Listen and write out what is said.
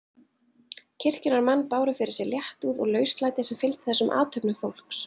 Kirkjunnar menn báru fyrir sig léttúð og lauslæti sem fylgdi þessum athöfnum fólks.